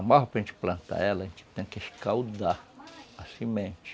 A malva para gente plantar ela, a gente tem que escaldar a semente.